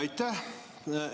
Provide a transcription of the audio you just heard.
Aitäh!